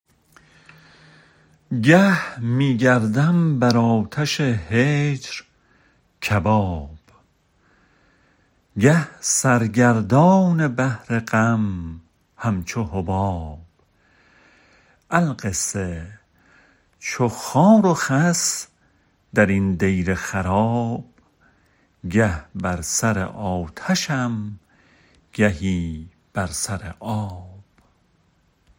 گه می گردم بر آتش هجر کباب گه سر گردان بحر غم همچو حباب القصه چو خار و خس درین دیر خراب گه بر سر آتشم گهی بر سر آب